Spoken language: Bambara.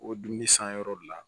O dumuni sanyɔrɔ de la